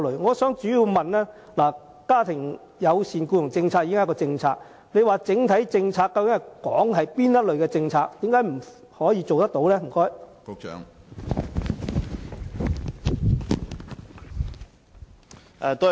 我的補充質詢是，家庭友善僱傭政策已是既定政策，局長所說的整體政策究竟是指哪些政策，為何不能做到？